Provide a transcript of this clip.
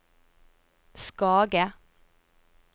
Skage